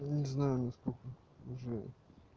не знаю насколько уже